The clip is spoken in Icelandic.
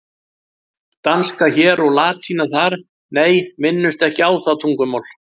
Danska hér og latína þar, nei, minnumst ekki á það tungumál.